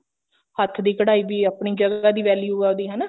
ਹੱਥ ਦੀ ਕਢਾਈ ਵੀ ਇਹ ਆਪਣੀ ਜਗ੍ਦੀਹਾ value ਆ ਉਹਦੀ ਹਨਾ